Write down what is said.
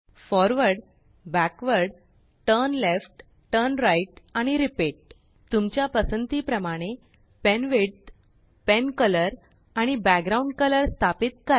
forward backward turn left turnrightआणिrepeat तुमच्या पसंती प्रमाणेpenwidthpencolorआणिbackground कलर स्थापित करा